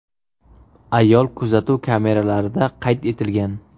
Ayol kuzatuv kameralarida qayd etilgan.